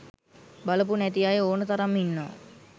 බලපු නැති අය ඕන තරම් ඉන්නවා.